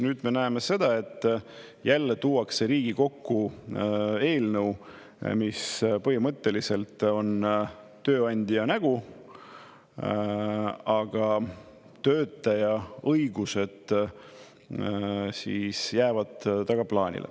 Nüüd me näeme seda, et jälle tuuakse Riigikokku eelnõu, mis põhimõtteliselt on tööandja nägu, aga töötaja õigused jäävad tagaplaanile.